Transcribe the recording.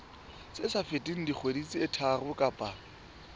feteng dikgwedi tse tharo kapa